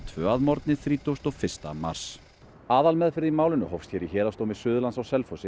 tvö að morgni þrítugasta og fyrsta mars aðalmeðferð málsins hófst hér í Héraðsdómi Suðurlands